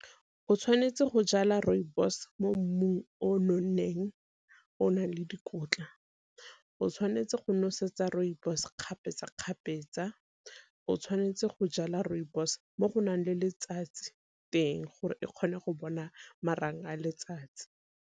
O tshwanetse go jala rooibos mo mmung o nonneng o nang le dikotla, o tshwanetse go nosetsa rooibos kgapetsa-kgapetsa, o tshwanetse go jala rooibos mo go nang le letsatsi teng gore e kgone go bona marang a letsatsi.